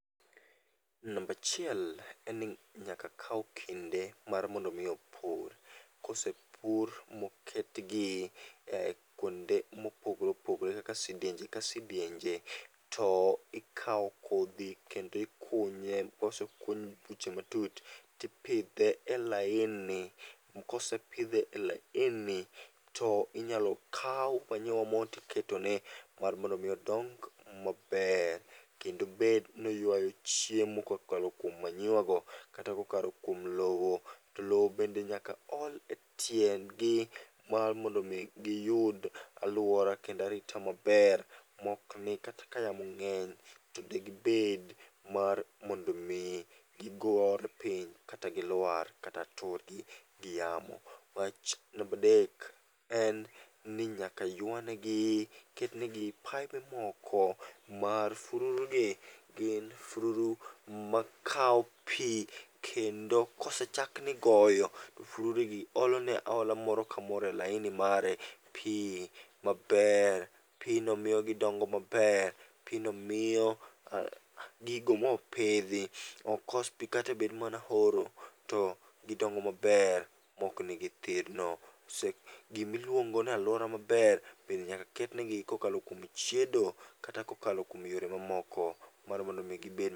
Nambachiel en ni nyaka kaw kinde mar mondo mi opur. Kosepur moket gi e kuonde mopogore opogore kaka sidienje ka sidienje. To ikawo kodhi kendo ikunye, kosekuny buche matut tipidhe e laini. Kosepidhe e laini to inyalokaw manyiwa moro tiketone mar mondo mi odong maber. Kendo bed noywayo chiemo kokalo kuom manyiwa go kata kokalo kuom lowo. To lowo be nyaka ol e tiendgi mar mondo mi giyud alwora kendo arita maber mokni kata ka yamo ng'eny to degibed mar mondomi gigore piny kata gilwar kata tur gi yamo. Wach nambadek en ni nyaka ywanegi, ketnegi paibe moko mar fururu gi. Gin fururu makawo pi kendo kosechak nigoyo, fururu gi ole ne moro ka moro e laini mare pi maber. Pino miyo gidongo maber, pino miyo gigo mopidhi ok kos pi katebed mana horo, to gidongo maber mokni githirno. Gimiluongo naluora maber bende nyaka ketnegi kokalo kuom chiedo kata kokalo kuom yore mamoko. Mar mondomi gibed.